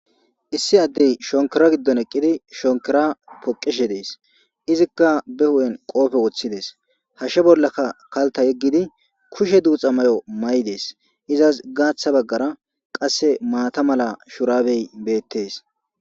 issi addey shonkira giddon eqqidi shonkira poqeshe dees izikka be hu7en qoofe woththides hashshe bollakka kalta yeggidi kushe duuxa may7o may7idees izas gaaththa baggara qasse maata mala shurabey beettes